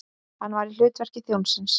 Hann var í hlutverki þjónsins.